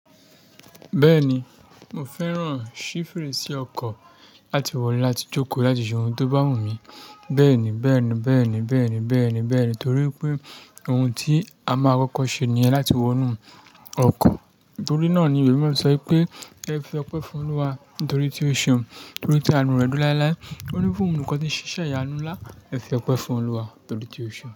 Bẹ́ẹ̀ni, mo fẹ́ràn ṣí fèrèsé ọkọ̀ láti wọlé láti jókòó láti ṣe ohun tó bá wù mí. Bẹ́ẹ̀ni, bẹ́ẹ̀ni, bẹ́ẹ̀ni, bẹ́ẹ̀ni, bẹ́ẹ̀ni, bẹ́ẹ̀ni torí pé ohun tí a máa kọ́kọ́ ṣe ni ẹ́ láti wọnú ọkọ̀ torí náà ni ìwé mí sọ pé ẹ fi ọpẹ́ fún Olúwa nítorí tí o ṣe ọ́n nítorí tí àánú rẹ̀ dún láíláí. Ó ní fún òun nìkan tí ń ṣiṣẹ́ ìyanu ńlá, ẹ fi ọpẹ́ fún Olúwa nítorí tí o ṣe ọ́n.